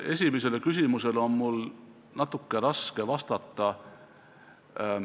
Esimesele küsimusele on mul natuke raske vastata.